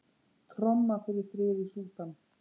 Tromma fyrir frið í Súdan